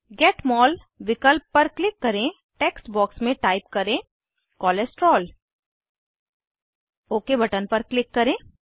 gate mole विकल्प पर click करें टेक्स्ट बॉक्स में टाइप करें कोलेस्टेरोल ओक बटन पर क्लिक करें